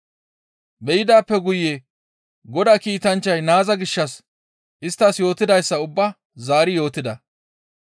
Be7idaappe guye Godaa kiitanchchay naaza gishshas isttas yootidayssa ubbaa zaari yootida.